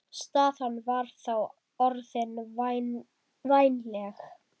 Staðan var þá orðin vænleg.